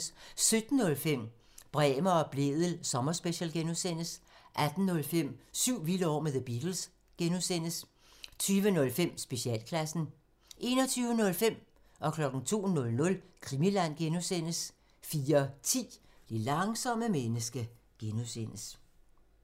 17:05: Bremer og Blædel sommerspecial (G) 18:05: Syv vilde år med The Beatles (G) 20:05: Specialklassen 21:05: Krimiland (G) 02:00: Krimiland (G) 04:10: Det langsomme menneske (G)